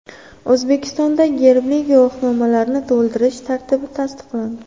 O‘zbekistonda gerbli guvohnomalarni to‘ldirish tartibi tasdiqlandi.